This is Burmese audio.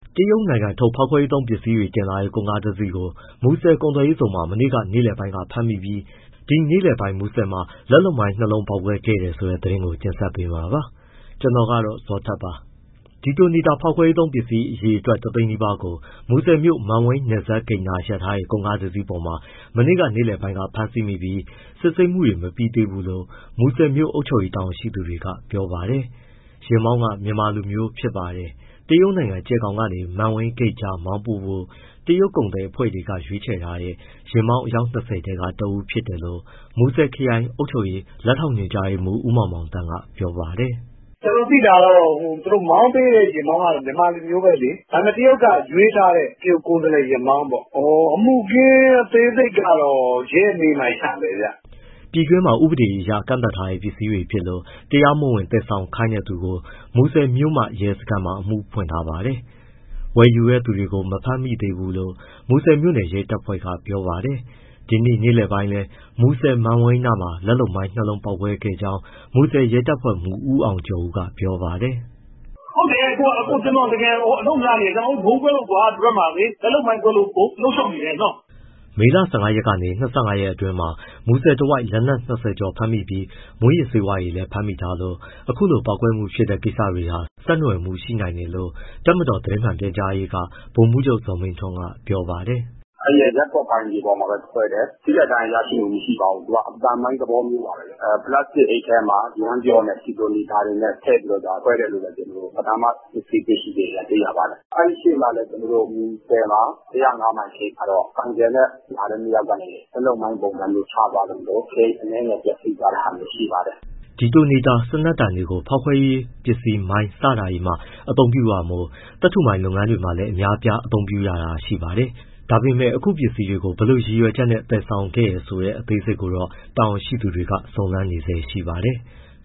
တရုတ်နိုင်ငံထုတ် ဖောက်ခွဲရေးသုံးပစ္စည်းတွေ တင်လာတဲ့ ကုန်ကားတစီးကို မူဆယ်ကုန်သွယ်ရေးဇုန်မှာ မနေ့က နေ့လယ်ပိုင်းက ဖမ်းမိပြီး ဒီနေ့လယ်ပိုင်း မူဆယ်မှာ လက်လုပ်မိုင်း နှစ်လုံးပေါက်ကွဲခဲ့တယ်ဆိုတဲ့ သတင်းကို ဗွီအိုအေမြန်မာပိုင်းသတင်းထောက် ကိုဇော်ထက်က တင်ဆက်ပေးပါမယ်။ Detonator ဖောက်ခွဲရေးသုံးပစ္စည်း အရေအတွက် ၁၀၀,၀၀၀ နီးပါးကို မူဆယ်မြို့ မန်ဝိန်းနယ်စပ်ဂိတ်နား ရပ်ထားတဲ့ ကုန်ကားပေါ်မှာ မနေ့က နေ့လယ်ပိုင်းက ဖမ်းဆီးမိပြီး စစ်ဆေးမှုတွေ မပြီးသေးဘူးလို့ မူဆယ်မြို့ အုပ်ချုပ်ရေး တာဝန်ရှိသူတွေက ပြောပါတယ်။ ယာဉ်မောင်းက မြန်မာလူမျိုးဖြစ်ပါတယ်။ တရုတ်နိုင်ငံ ကြယ်ဂေါင်ကနေ မန်းဝိန်းဂိတ်ကြားမောင်းပို့ဖို့ တရုတ်ကုန်သည်အဖွဲ့တွေ ရွေးထားတဲ့ ယာဉ်မောင်း အယောက် ၂၀ ထဲက တဦးဖြစ်တယ်လို့ မူဆယ်ခရိုင်အုပ်ချုပ်ရေး လက်ထောက်ညွှန်မှူး ဦးမောင်မောင်သန်းက ပြောပါတယ်။ “ကျနော်သိတာကတော့ မောင်းပေးတဲ့ ယာဉ်မောင်းကတော့ မြန်မာလူမျိုးပဲလေ။ ဒါပေမဲ့ တရုတ်က ရွေးထားတဲ့ တရုတ်ကိုယ်စားလှယ်ယာဉ်မောင်းပေါ့။ အမှုအခင်း အသေးစိတ်ကတော့ ရဲမေးမှ ရမယ်ဗျ။” ပြည်တွင်းမှာ ဥပဒေအရ ကန့်သတ်ထားတဲ့ ပစ္စည်းတွေဖြစ်လို့ တရားမဝင် သယ်ဆောင်ခိုင်းတဲ့သူကို မူဆယ်မြို့မရဲစခန်းမှာ အမှုဖွင့်ထားပါတယ်။ ဝယ်ယူတဲ့သူကို မဖမ်းမိသေးဘူးလို့ မူဆယ်မြို့နယ် ရဲတပ်ဖွဲ့က ပြောပါတယ်။ ဒီနေ့နေ့လယ်ပိုင်းလည်း မူဆယ် မန်ဝိန်းနားမှာ လက်လုပ်မိုင်း နှစ်လုံးပေါက်ခဲ့ကြောင်း မြို့နယ်ရဲတပ်ဖွဲ့မှူး ဦးအောင်ကျော်ဦး ကပြောပါတယ်။ “ဟုတ်တယ်။ ကျနော်တို့ တကယ်ကို အလုပ်များနေတယ်။ ကျနော်တို့ ဗုံးကွဲလို့ ဒီဘက်မှာ လက်လုပ်မိုင်းကွဲလို့ အလုပ်ရှုပ်နေတယ်နော်။” မေလ ၁၅ ရက်ကနေ ၂၅ ရက်အတွင်းမှာ မူဆယ်တဝိုက်မှာ လက်နက် ၂၀ ကျော်ဖမ်းမိပြီး မူးယစ်ဆေးဝါးတွေလည်း ဖမ်းမိထားလို့ အခုလိုပေါက်ကွဲမှုဖြစ်တဲ့ ကိစ္စတွေဟာ ဆက်နွယ်မှုရှိနိုင်တယ်လို့ တပ်မတော်သတင်းမှန်ပြန်ကြားရေးက ဗိုလ်မှူးချုပ် ဇော်မင်းထွန်းက ပြောပါတယ်။ “အဲဒီရပ်ကွက်ပိုင်မြေပေါ်မှာ ကွဲတယ် ထိခိုက်ဒဏ်ရာရရှိမှု မရှိပါဘူး၊ သူက အသံမိုင်းသဘောမျိုးပါပဲ။ ပလတ်စတစ်အိတ်ထဲမှာ ယမ်းပျော့နဲ့ ဒီတိုနေတာ ထည့်ပြီးတော့မှ ခွဲတယ်လို့ ပဏာမ စစ်ဆေးချက်အရ သိရပါတယ်။ အဲဒီရှေ့မှာလည်း မူဆယ် ၁၀၅ မိုင်ဂိတ်မှာတော့ ဆိုင်ကယ်နဲ့ လာတဲ့ နှစ်ယောက်ကနေ လက်လုပ်မိုင်းပုံစံမျိုး ချသွားလို့ ဂိတ်အနည်းငယ် ပျက်စီးသွားတာလည်း ရှိပါတယ်။” Detonator စံနက်တံတွေကို ဖေါက်ခွဲရေးပစ္စည်း မိုင်း စတာတွေမှာ အသုံးပြုတာမို့၊ သတ္ထုမိုင်းလုပ်ငန်းတွေမှာလည်း အများအပြား အသုံးပြုရတာရှိပါတယ်။ ဒါပေမဲ့ အခု ပစ္စည်းတွေကို ဘယ်လိုရည်ရွယ်ချက်နဲ့ သယ်ဆောင်သလဲဆိုတဲ့ အသေးစိတ်ကိုတော့ တာဝန်ရှိသူတွေ စုံစမ်းနေဆဲရှိပါတယ်။